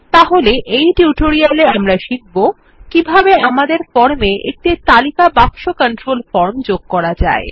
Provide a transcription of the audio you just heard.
তাই এই টিউটোরিয়ালে আমরা শিখব কিভাবে আমাদের ফর্ম এ একটি তালিকা বাক্স কন্ট্রোল ফর্ম যোগ করা যায়